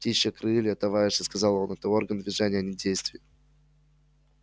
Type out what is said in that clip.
птичьи крылья товарищи сказал он это орган движения а не действий